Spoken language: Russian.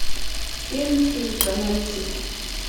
фильм флика найти